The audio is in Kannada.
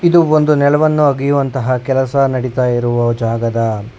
ಇದು ಒಂದು ನೆಲವನ್ನು ಹಗೆಯುವಂತ ಕೆಲಸ ನಡಿತಾ ಇರುವ ಜಾಗದ--